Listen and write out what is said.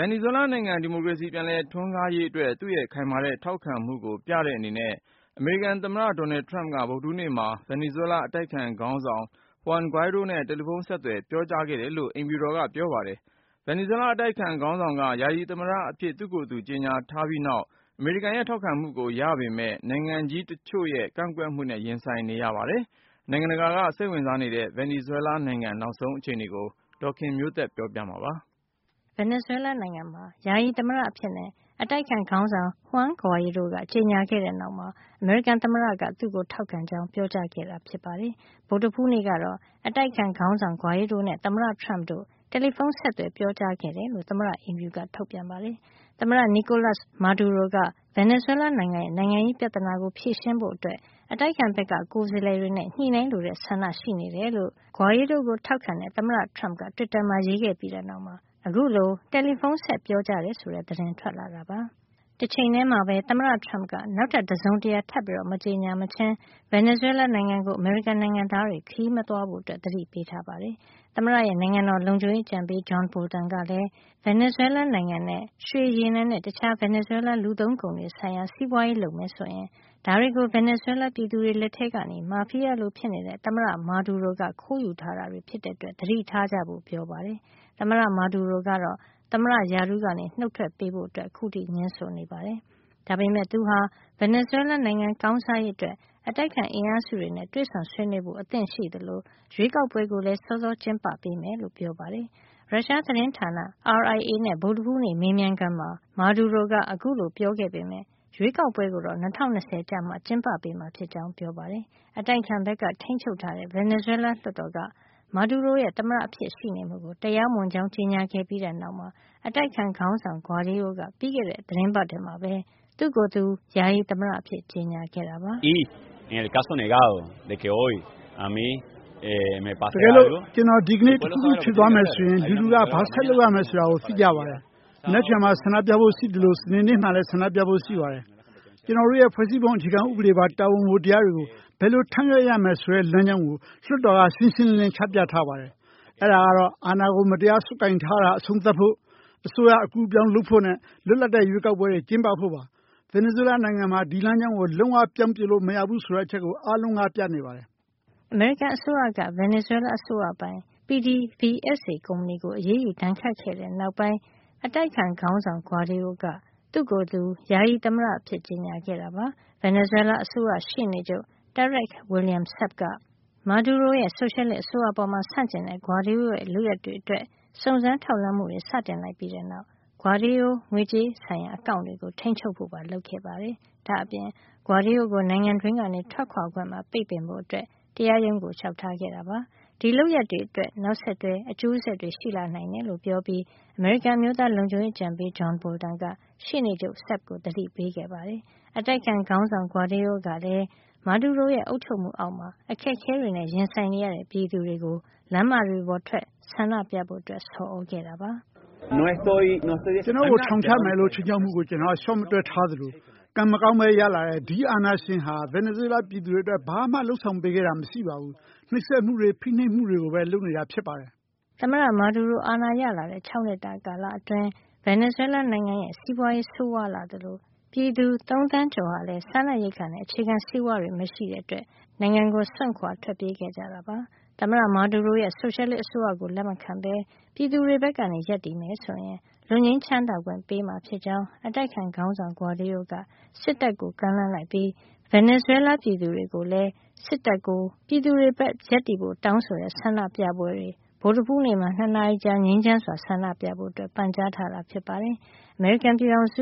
င်နီဇွဲလားနိုင်ငံ ဒီမိုကရေစီ ပြန်လည်ထွန်းကားရေးအတွက် သူ့ရဲ့ ခိုင်မာတဲ့ ထောက်ခံမှုကို ပြတဲ့အနေနဲ့ အမေရိကန် သမ္မတ Donald Trump က ဗုဒ္ဓဟူးနေ့မှာ ဗင်နီဇွဲလား အတိုက်အခံ ခေါင်းဆောင် Juan Guaido နဲ့ တယ်လီဖုံးဆက်သွယ် ပြောကြားခဲ့တယ်လို့ သမ္မတ အိမ်ဖြူက ပြောပါတယ်။ ဗင်နီဇွဲလားနိုင်ငံရဲ့ အတိုက်အခံခေါင်းဆောင်က ယာယီသမ္မတအဖြစ် သူ့ကိုယ်သူ ကြေညာခဲ့ပြီးနောက်ပိုင်း အမေရိကန်ရဲ့ ထောက်ခံမှုကို ရပေမယ့် နိုင်ငံကြီးတချို့ရဲ့ ကန့်ကွက်မှုနဲ့ရင်ဆိုင်နေရတာ ဖြစ်ပါတယ်။ နိုင်ငံတကာက စိတ်ဝင်စားနေတဲ့ ဗင်နီဇွဲလားနိုင်ငံရဲ့ နောက်ဆုံး အခြေနေတွေကို ဒေါ်ခင်မျိုးသက်က စုစည်း တင်ပြပေးမှာပါ။ ဗင်နီဇွဲလားနိုင်ငံမှာ ယာယီသမ္မတအဖြစ် အတိုက်အခံခေါင်းဆောင် Juan Guaido က ကြေညာခဲ့တဲ့နောက်မှာ အမေရိကန်သမ္မတက သူ့ကို ထောက်ခံကြောင်း ပြောကြားခဲ့တာ ဖြစ်ပါတယ်။ ဗုဒ္ဓဟူးနေ့ကတော့ အတိုက်အခံခေါင်းဆောင် Guaido နဲ့ သမ္မတ Trump တို့ တယ်လီဖုံးဆက်သွယ် ပြောကြားခဲ့တယ်လို့ သမ္မတအိမ်ဖြူက ထုတ်ပြန်ပါတယ်။ သမ္မတ Nicolas Maduro က ဗင်နီဇွဲလား နိုင်ငံရဲ့ နိုင်ငံရေး ပြဿနာကို ဖြေရှင်းဖို့ အတိုက်အခံဘက်က ကိုယ်စားလှယ်တွေနဲ့ ညှိနှိုင်းလိုတဲ့ ဆန္ဒရှိနေတယ် လို့ Juan Guaido ကို ထောက်ခံတဲ့ သမ္မတ Trump က တွစ်တာမှာ ရေးခဲ့ပြီးတဲ့ နောက်မှာ အခုလို တယ်လီဖုံးဆက် ပြောကြားတယ် ဆိုတဲ့ သတင်းထွက်လာတာပါ။ တချိန်ထဲမှာပဲ သမ္မတ Trump က နောက်ထပ် တစုံတရာ ထပ်မကြေညာ မချင်း ဗင်နီဇွဲလား နိုင်ငံကို အမေရိကန်နိုင်ငံသားတွေ ခရီးမသွားဖို့ သတိပေးထားတာပါ။ သမ္မတရဲ့ နိုင်ငံတော် လုံခြုံရေးအကြံပေး John Bolton ကလည်း ဗင်နီဇွဲလားနိုင်ငံနဲ့ ရွှေ၊ ရေနံနဲ့ တခြား ဗင်နီဇွဲလား လူသုံးကုန်တွေ ဆိုင်ရာ စီးပွါးရေး လုပ်မယ်ဆိုရင် ဒါတွေကို ဗင်နီဇွဲလား ပြည်သူတွေ လက်ထဲကနေ မာဖီယားလို ဖြစ်နေတဲ့ သမ္မတ Maduro က ခိုးယူထားတာ တွေ ဖြစ်တဲ့အတွက် သတိထားကြဖို့ပြောပါတယ်။ သမ္မတ Maduro ကတော့ သမ္မတရာထူးကနေ နှုတ်ထွက်ပေးဖို့ ငြင်းဆိုနေတာပါ။ ဒါပေမယ့် သူဟာ ဗင်နီဇွဲလားနိုင်ငံ ကောင်းစားရေးအတွက် အတိုက်အခံ အင်အားစုတွေနဲ့ တွေ့ဆုံဆွေးနွေးဖို့ အသင့်ရှိသလို ရွေးကောက်ပွဲကိုလည်း စောစောကျင်းပ ပေးမယ်လို့ ပြောပါတယ်။ ရုရှား သတင်းဌာန RIA နဲ့ ဗုဒ္ဓဟူးနေ့ မေးမြန်းခန်းမှာ Madirp က အခုလို ပြောခဲ့ပေမယ့် ရွေးကောက်ပွဲကိုတော့ ၂၀၂၅ ကျမှ ကျင်းပပေးမှာ ဖြစ်ကြောင်း ပြောပါတယ်။ အတိုက်အခံဘက်က ထိန်းချုပ်ထားတဲ့ ဗင်နီဇွဲလားလွှတ်တော်က Maduro ရဲ့ သမ္မတအဖြစ်ရှိနေမှုကို တရားမဝင်ကြောင်း ကြေညာခဲ့ပြီးတဲ့ နောက်မှာ အတိုက်အခံ ခေါင်းဆောင် Guaido က ပြီးခဲ့တဲ့ သီတင်းပတ်ထဲမှာပဲ သူ့ကိုယ်သူ ယာယီ သမ္မတအဖြစ် ကြေညာခဲ့တာပါ။ "တကယ်လို့ ကျနော် ဒီကနေ့ တခုခု ဖြစ်သွားမယ် ဆိုရင် လူထုက ဘာလုပ်ရမယ် ဆိုတာကို သိကြပါတယ်။ မနက်ဖန်မှာ ဆန္ဒပြဖို့ ရှိသလို စနေနေ့မှာလည်း ဆန္ဒပြဖို့ ရှိပါတယ်။ ကျနော်တို့ရဲ့ ဖွဲ့စည်းပုံအခြေခံဥပဒေပါ တာဝန်ဝတ္တရားတွေကို ဘယ်လိုထမ်းရွက်ရမယ်ဆိုတဲ့ လမ်းကြောင်းကို လွှတ်တော်ကရှင်းရှင်းလင်းလင်း ချပြထားပါတယ်။ အဲဒါကတော့ အာဏာကို မတရားဆုပ်ကိုင်ထားတာ အဆုံးသတ်ဖို့၊ အစိုးရအကူးအပြောင်းလုပ်ဖို့နဲ့ လွတ်လပ်တဲ့ ရွေးကောက်ပွဲတွေ ကျင်းပဖို့ပါ။ ဗင်နီဇွဲလားနိုင်ငံမှာ ဒီလမ်းကြောင်းကို လုံးဝပြောင်းပစ်လို့မရဘူးဆိုတဲ့အချက်ကို အားလုံးကပြနေပါတယ်။ အမေရိကန်အစိုးရက ဗင်နီဇွဲလား အစိုးရပိုင် PDVSA ကုမ္ပဏီကို အရေးယူဒဏ်ခတ်ခဲ့တဲ့ နောက်ပိုင်းမှာ အတိုက်အခံ ခေါင်းဆောင် Guaido က သူ့ကိုယ်သူ ယာယီသမ္မတ အဖြစ်ကြေညာခဲ့တာ ဖြစ်ပါတယ်။ ဗင်နီဇွဲလား အစိုးရရှေ့နေချုပ် Tarek William Saab က Maduro ရဲ့ ဆိုရှယ်လစ်အစိုးရအပေါ် ဆန့်ကျင်တဲ့ Guaido ရဲ့ လုပ်ရပ်တွေအတွက် စုံစမ်းထောက်လှန်းမှုတွေ စတင်လိုက်ပြီးတဲ့နောက် Guaido ငွေကြေး ဆိုင်ရာ အကောင့်တွေကို ထိန်းချုပ်ဖို့ လုပ်ခဲ့ပါတယ်။ ဒါ့အပြင် Guaido ကို နိုင်ငံတွင်းက ထွက်ခွါခွင့်ပါ ပိတ်ပင်ဖို့ တရားရုံးကို လျှောက်ထားခဲ့တာပါ။ ဒီလုပ်ရပ်တွေအတွက် နောက်ဆက်တွဲ အကျိုးဆက်တွေ ရှိလာနိုင်တယ်လို့ ပြောပြီး အမေရိကန် အမျိုးသား လုံခြုံရေးအကြံပေး John Bolton က ရှေ့နေချုပ် Saab ကို သတိပေးခဲ့ပါတယ်။ အတိုက်အခံ ခေါင်းဆောင် Guaido ကလည်း Maduro ရဲ့ အုပ်ချုပ်မှုအောက်မှာ အခက်အခဲတွေနဲ့ ရင်ဆိုင်နေရတဲ့ ပြည်သူတွေကို လမ်းမတွေပေါ်ထွက် ဆန္ဒပြကြဖို့ ဆော်သြခဲ့ပါတယ်။ “ကျနော့်ကို ထောင်ချမယ်လို့ ခြိမ်းခြောက်မှုကို ကျနော် လျှော့မတွက်ထားသလို ကံမကောင်းပဲ ရလာတဲ့ ဒီအာဏာရှင်ဟာ ဗင်နီဇွဲလား ပြည်သူ တွေအတွက် ဘာမှ ဆောင်ရွက်ပေးတာ မရှိပါဘူး။ နှိပ်စက်မှုတွေ ဖိနှိပ်မှုတွေပဲ လုပ်နေတာ ဖြစ်ပါတယ်” သမ္မတ Maduro အာဏာရလာတဲ့ ၆ နှစ်တာ ကာလအတွင်း ဗင်နီဇွဲလားနိုင်ငံရဲ့ စီးပွါးရေး ဆိုးဝါးလာသလို ပြည်သူ ၃ သန်းကျော်ဟာ စားနပ်ရိက္ခာနဲ့ အခြေခံဆေးဝါး မရှိတာတွေကြောင့် နိုင်ငံကိုစွန့်ခွါ ထွက်ပြေးခဲ့ကြတာပါ။ သမ္မတ Maduro ရဲ့ ဆိုရှယ်လစ် အစိုးရကို လက်မခံပဲ ပြည်သူတွေဘက်က ရပ်တည်မယ် ဆိုရင် လွတ်ငြိမ်းချမ်းသာခွင့် ပေးမှာ ဖြစ်ကြောင်း အတိုက်အခံ ခေါင်းဆောင်က Guaido က စစ်တပ်ကို ကမ်းလှမ်းလိုက်ပြီး ဗင်နီဇွဲလား ပြည်သူတွေလည်း စစ်တပ်ကို ပြည်သူတွေဘက်က ရပ်တည်ဖို့ တောင်းဆိုတဲ့ ဆန္ဒပြပွဲတွေ ဗုဒ္ဓဟူးနေ့မှာ ၂ နာရီကြာ ငြိမ်းချမ်းစွာ ဆန္ဒပြကြဖို့ ပန်ကြားထားတာ ဖြစ်ပါတယ်။ အမေရိကန် ပြည်ထောင်စု